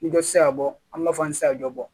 Ni dɔ ti se ka bɔ an b'a fɔ an ti se ka jɔ bɔ